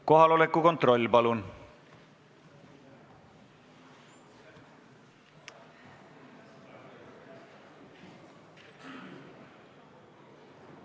Kohaloleku kontroll, palun!